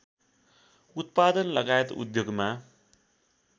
उत्पादनलगायत उद्योगमा